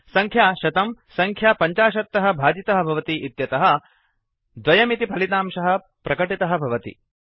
संख्या 100 संख्या 50 तः भाजितः भवति इत्यतः 2 इति फलितांशः प्रकटितः भवति